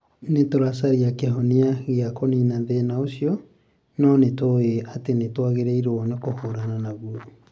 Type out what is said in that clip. Nĩ tũracaria kĩhonia gĩa kũniina thĩna ũcio, no nĩ tũĩ atĩ nĩ twagĩrĩirũo nĩ kũhiũrania naguo.'